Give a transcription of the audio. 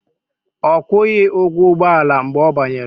Ọ kwụghị ụgwọ ụgbọala mgbe ọ banyere